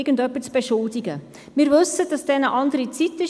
Gibt es Einzelsprecherinnen oder Einzelsprecher?